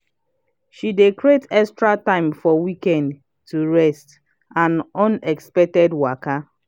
she dey creat extra time for weekend to rest and unexpected waka.